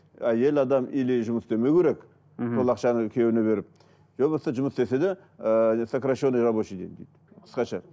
әйел адам или жұмыс істемеу керек мхм сол ақшаны күйеуіне беріп иә болмаса жұмыс істесе де ыыы сокращенный рабочий день дейді қысқаша